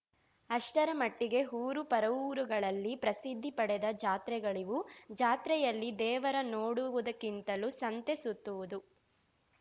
ಅಷ್ಟರ ಮಟ್ಟಿಗೆ ಊರು ಪರವೂರುಗಳಲ್ಲಿ ಪ್ರಸಿದ್ಧಿ ಪಡೆದ ಜಾತ್ರೆಗಳಿವು ಜಾತ್ರೆಯಲ್ಲಿ ದೇವರ ನೋಡುವುದಕ್ಕಿಂತಲೂ ಸಂತೆ ಸುತ್ತುವುದು